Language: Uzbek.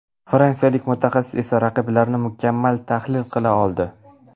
Fransiyalik mutaxassis esa raqiblarini mukammal tahlil qila oldi.